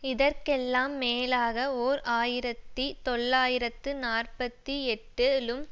இதற்கெல்லாம் மேலாக ஓர் ஆயிரத்தி தொள்ளாயிரத்து நாற்பத்தி எட்டு லும்